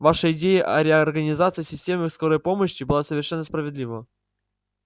ваша идея о реорганизации системы скорой помощи была совершенно справедлива